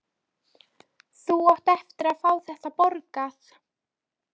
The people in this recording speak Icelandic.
Þú átt eftir að fá þetta borgað!